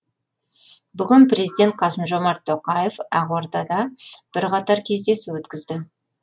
бүгін президент қасым жомарт тоқаев ақордада бірқатар кездесу өткізді